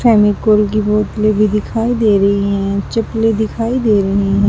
फेविकोल की बोतलें भी दिखाई दे रही हैं चप्पलें दिखाई दे रही--